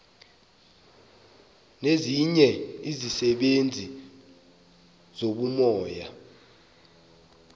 nezinye izisebenzi zobumoya